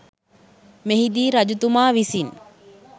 මෙහිදී රජතුමා විසින්